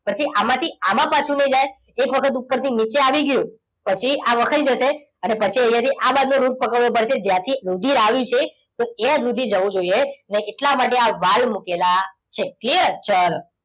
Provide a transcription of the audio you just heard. પછી આમાંથી આમાં પાછું લઈ જાય. એક વખત ઉપરથી નીચે આવી ગયું પછી આ વખાઈ જશે. પછી અહીંયા થી આ બાજુ રૂટ પકડવો પડશે. જ્યાંથી રુધિર આવી છે તો ત્યાં સુધી જવું જોઈએ ને એટલા માટે આ વાલ મુકેલા છે. clear ચલો.